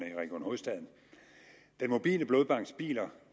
i region hovedstaden den mobile blodbanks biler